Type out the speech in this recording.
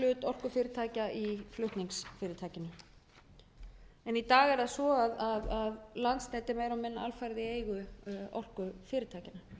orkufyrirtækja í flutningsfyrirtækinu en í dag er það svo að landsnetið er alfarið í eigu orkufyrirtækjanna